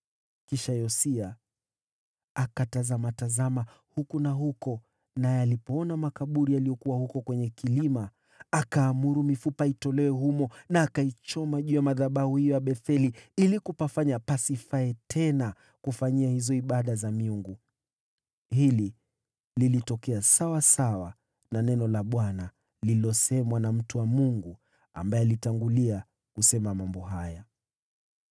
Kisha Yosia akatazama huku na huko, naye alipoona makaburi yaliyokuwa huko kwenye kilima, akaamuru mifupa itolewe humo na akaichoma juu ya madhabahu ya Betheli ili kupanajisi. Hili lilitokea kulingana na neno la Bwana lililosemwa na mtu wa Mungu ambaye alitangulia kusema mambo haya.